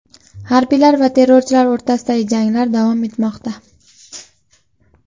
Harbiylar va terrorchilar o‘rtasidagi janglar davom etmoqda.